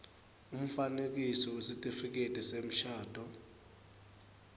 umfanekiso wesitifiketi semshado